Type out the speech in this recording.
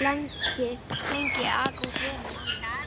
lengi að aka út vörunum á annatímum.